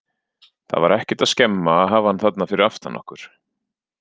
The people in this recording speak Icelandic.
Það var ekkert að skemma að hafa hann þarna fyrir aftan okkur.